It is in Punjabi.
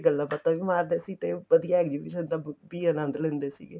ਗੱਲਾਂ ਬਾਤਾਂ ਵੀ ਮਾਰਦੇ ਸੀ ਤੇ ਉੱਪਰ ਦਾ exhibition ਦਾ ਵੀ ਅਨੰਦ ਲੈਂਦੇ ਸੀਗੇ